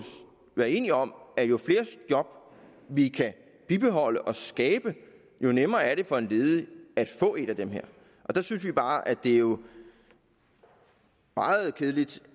være enige om at jo flere job vi kan bibeholde og skabe jo nemmere er det for en ledig at få et af dem der synes vi bare at det jo er meget kedeligt